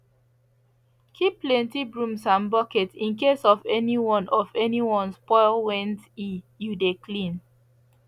keep plenty brooms and buckets in case of anyone of anyone spoil went e you de clean